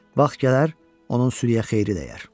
Vaxt gələr, onun sürüyyə xeyri dəyər.